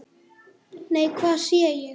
Nei, hvað sé ég!